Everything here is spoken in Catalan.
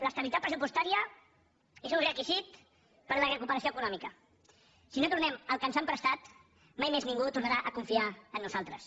l’estabilitat pressupostària és un requisit per a la recuperació econòmica si no tornem el que ens han prestat mai més ningú tornarà a confiar en nosaltres